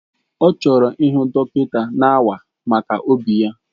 Ọ chọrọ ịhụ dọkịta na-awa maka obi ya.